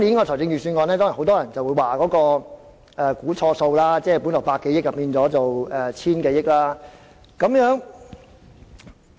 第一點是很多人說今年的預算案"估錯數"，盈餘多了百多億元，達千多億元。